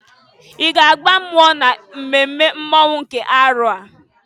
I ga aba mmụọ na mmemme mmonwụ nke arọ a?